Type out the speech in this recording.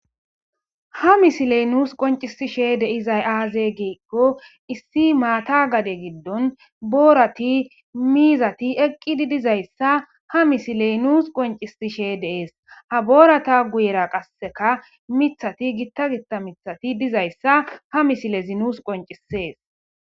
ha misiley nuus qoncisishe de'izay aaze giikko issi maata gade giddon boorati miizati eqqidi dizayssa ha misiley nuus qoncisishe de'ees ha boorata guyera qasseka mithati gitta gitta mithati dizayssa ha misilezi nuus qoncisees